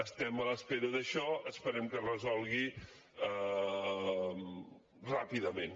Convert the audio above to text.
estem a l’espera d’això esperem que es resolgui ràpidament